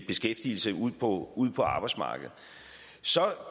beskæftigelse ude på ude på arbejdsmarkedet så